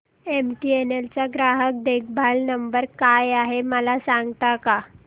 MTNL चा ग्राहक देखभाल नंबर काय आहे मला सांगता का